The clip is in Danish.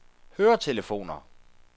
høretelefoner